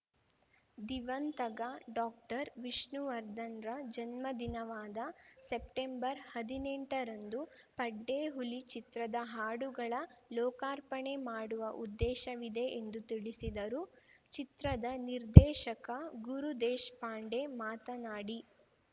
ದಿವಂತಗ ಡಾಕ್ಟರ್ವಿಷ್ಣುವರ್ಧನ್‌ರ ಜನ್ಮದಿನವಾದ ಸೆಪ್ಟೆಂಬರ್ಹದಿನೆಂಟರಂದು ಪಡ್ಡೆ ಹುಲಿ ಚಿತ್ರದ ಹಾಡುಗಳ ಲೋಕಾರ್ಪಣೆ ಮಾಡುವ ಉದ್ದೇಶವಿದೆ ಎಂದು ತಿಳಿಸಿದರು ಚಿತ್ರದ ನಿರ್ದೇಶಕ ಗುರು ದೇಶ್ಪಾಂಡೆ ಮಾತನಾಡಿ